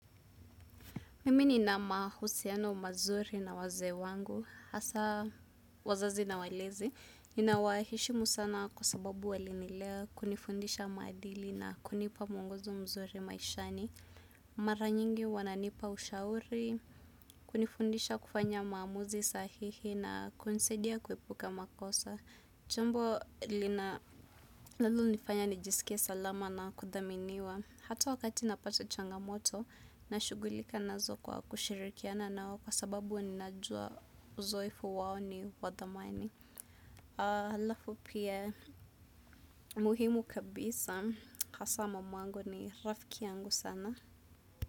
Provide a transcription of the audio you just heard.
Mimi nina mahusiano mazuri na wazee wangu, hasa wazazi na walezi, ninawaheshimu sana kwa sababu walinilea kunifundisha maadili na kunipa mwongozo mzuri maishani. Mara nyingi wananipa ushauri, kunifundisha kufanya maamuzi sahihi na kunisaidia kuepuka makosa. Jambo linalonifanya nijisikie salama na kudhaminiwa. Hata wakati napata changamoto nashughulika nazo kwa kushirikiana nao. Kwa sababu ninajua uzoefu wao ni wa dhamani. Halafu pia muhimu kabisa hasa mamangu ni rafiki yangu sana.